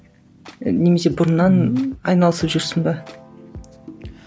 немесе бұрыннан айналысып жүрсің бе